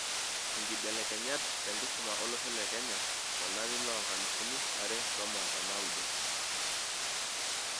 Inkibelekenyat tenkisuma olosho leKenya tolari loonkalifuni are otomon onaudo.